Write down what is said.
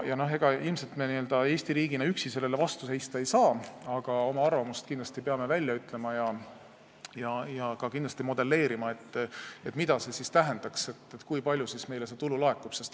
Ega Eesti üksi sellele ilmselt vastu seista ei saa, aga oma arvamuse peame kindlasti välja ütlema ja ka modelleerima, mida see siis tähendaks, kui palju meile seda tulu laekuks.